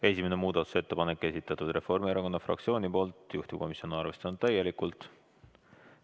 Esimese muudatusettepaneku on esitanud Reformierakonna fraktsioon, juhtivkomisjon on arvestanud seda täielikult.